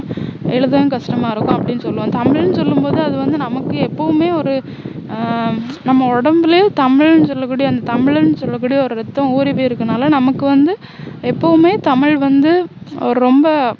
எழுதுறதும் கஷ்டமா இருக்கும் அப்படின்னு சொல்லுவோம் தமிழ்னு சொல்லும் போது அதுவந்து நமக்கு எப்போவுமே ஒரு ஆஹ் நம்ம உடம்புல தமிழ்னு சொல்லக்கூடிய தமிழன்னு சொல்லக்கூடிய ஒரு இரத்தம் ஊறி போயிருக்கதுனால நமக்கு வந்து எப்போவுமே தமிழ் வந்து ஒரு ரொம்ப